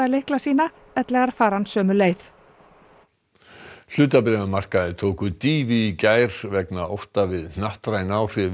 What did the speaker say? lykla sína ellegar fari hann sömu leið hlutabréfamarkaðir tóku dýfu í gær vegna ótta við hnattræn áhrif